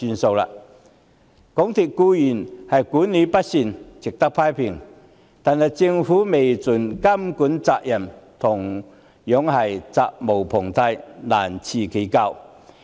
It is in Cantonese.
港鐵公司管理不善，固然值得批評，但政府未盡監管責任，同樣責無旁貸，難辭其咎。